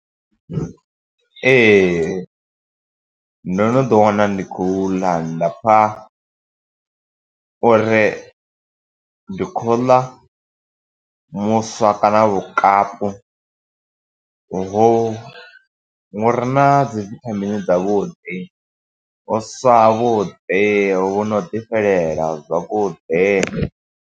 Ee, ndo no ḓi wana ndi khou ḽa, nda pfa uri ndi khou ḽa muswa kana vhukapu vhu, vhu re na dzi vithamini dza vhuḓi. Vhuswa ha vhuḓi, vhu no ḓifhelela zwavhuḓi.